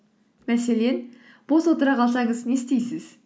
мәселен бос отыра қалсаңыз не істейсіз